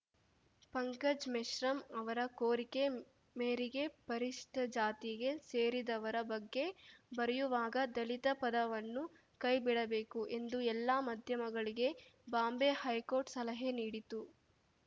ಪಂಕಜ್‌ ಮೆಶ್ರಾಮ್‌ ಅವರ ಕೋರಿಕೆ ಮೇರೆಗೆ ಪರಿಶಿಷ್ಟಜಾತಿಗೆ ಸೇರಿದವರ ಬಗ್ಗೆ ಬರೆಯುವಾಗ ದಲಿತ ಪದವನ್ನು ಕೈಬಿಡಬೇಕು ಎಂದು ಎಲ್ಲ ಮಾಧ್ಯಮಗಳಿಗೆ ಬಾಂಬೆ ಹೈಕೋರ್ಟ್‌ ಸಲಹೆ ನೀಡಿತ್ತು